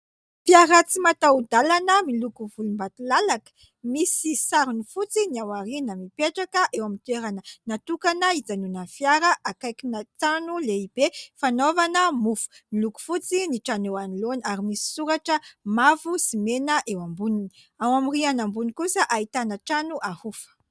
Fiara tsy mataho-dalana miloko volombatolalaka, misy sarony fotsy ny ao aoriana. Mipetraka eo amin'ny toerana natokana hijanonan'ny fiara, akaikina trano lehibe fanaovana mofo ; miloko fotsy ny trano eo anoloana ary misy soratra mavo sy mena eo amboniny ; ao amin'ny rihana ambony kosa ahitana trano ahofa.